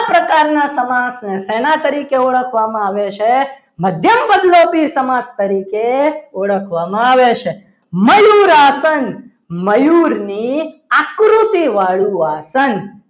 આવા પ્રકારના સમાજને સેના તરીકે ઓળખવામાં આવે છે મધ્યમપદલોપી સમાસ તરીકે ઓળખવામાં આવે છે. મયુર આસન મયુર ની આકૃતિવાળું આસન